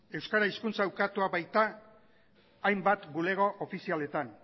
euskara hizkuntza ukatua baita hainbat bulego ofizialetan